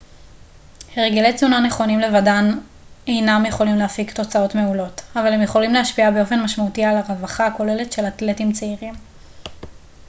הרגלי תזונה נכונים לבדם אינם יכולים להפיק תוצאות מעולות אבל הם יכולים להשפיע באופן משמעותי על הרווחה הכוללת של אתלטים צעירים